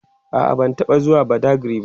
a'a ban taɓa zuwa badagry ba